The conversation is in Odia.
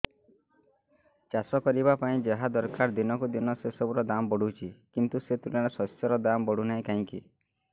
ଚାଷ କରିବା ପାଇଁ ଯାହା ଦରକାର ଦିନକୁ ଦିନ ସେସବୁ ର ଦାମ୍ ବଢୁଛି କିନ୍ତୁ ସେ ତୁଳନାରେ ଶସ୍ୟର ଦାମ୍ ବଢୁନାହିଁ କାହିଁକି